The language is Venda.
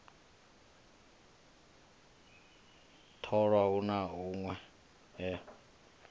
tholwa hu na hunwe he